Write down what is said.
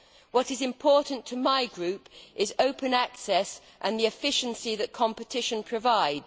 What is important to my group is open access and the efficiency that competition provides.